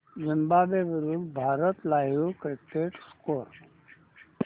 Zimbabwe विरूद्ध Bharat live cricket score